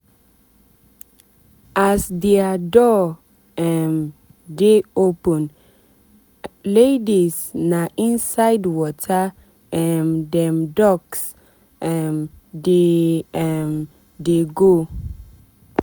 as dia door um dey open laidis na inside water um dem ducks um dey um dey go.